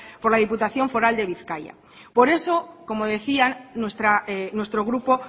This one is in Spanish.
por la diputación foral de bizkaia por eso como decían nuestro grupo